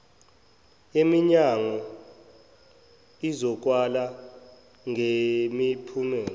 yeminyango izokalwa ngemiphumela